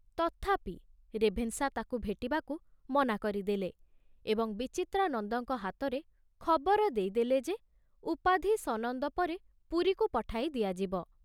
ତଥାପି ରେଭେନଶା ତାକୁ ଭେଟିବାକୁ ମନା କରିଦେଲେ ଏବଂ ବିଚିତ୍ରାନନ୍ଦଙ୍କ ହାତରେ ଖବର ଦେଇଦେଲେ ଯେ ଉପାଧି ସନନ୍ଦ ପରେ ପୁରୀକୁ ପଠାଇ ଦିଆଯିବ।